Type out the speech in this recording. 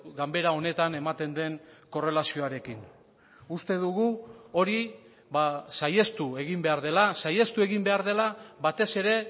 ganbera honetan ematen den korrelazioarekin uste dugu hori saihestu egin behar dela saihestu egin behar dela batez ere